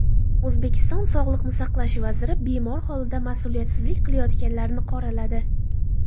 O‘zbekiston sog‘liqni saqlash vaziri bemor holida mas’uliyatsizlik qilayotganlarni qoraladi.